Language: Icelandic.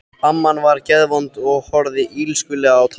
Amman var geðvond og horfði illskulega á Tóta.